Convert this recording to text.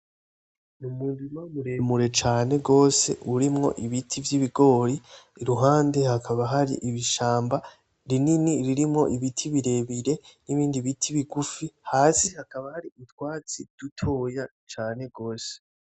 Umurima muremure cane gose urimwo ibiti vyibigori iruhande hakaba hari ibishamba rinini ririmwo ibiti birebire nibindi biti bigufi hasi hakaba hari utwatsi dutoya cane gose